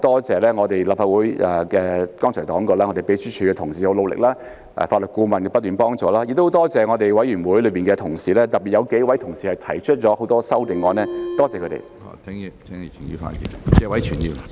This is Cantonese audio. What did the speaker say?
這次當然我很多謝立法會秘書處同事的努力，法律顧問的不斷幫助，亦很多謝委員會的同事，特別有幾位同事提出很多修正案，多謝他們。